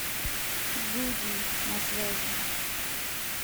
гуди на связи